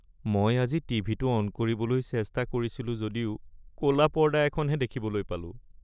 মই আজি টিভিটো অন কৰিবলৈ চেষ্টা কৰিছিলোঁ যদিও ক’লা পৰ্দা এখনহে দেখিবলৈ পালোঁ।